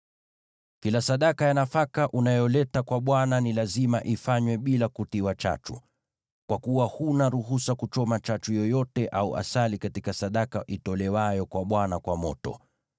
“ ‘Kila sadaka ya nafaka unayoleta kwa Bwana ni lazima ifanywe bila kutiwa chachu, kwa kuwa huna ruhusa kuchoma chachu yoyote au asali katika sadaka itolewayo kwa Bwana kwa moto.